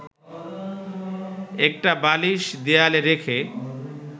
একটা বালিশ দেয়ালে রেখে